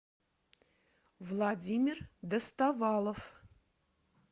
владимир доставалов